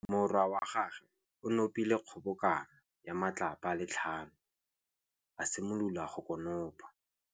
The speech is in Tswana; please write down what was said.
Morwa wa gagwe o nopile kgobokanô ya matlapa a le tlhano, a simolola go konopa.